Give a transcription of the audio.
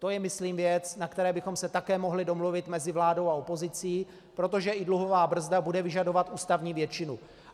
To je, myslím, věc, na které bychom se také mohli domluvit mezi vládou a opozicí, protože i dluhová brzda bude vyžadovat ústavní většinu.